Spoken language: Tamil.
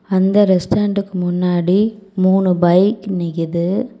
அந்த ரெஸ்டாரன்ட்க்கு முன்னாடி மூணு பைக் நிக்குது.